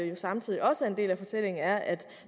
jo samtidig også er en del af fortællingen er at